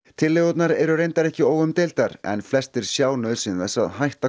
tillögurnar eru reyndar ekki óumdeildar en flestir sjá nauðsyn þess að hætta